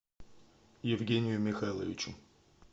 евгению михайловичу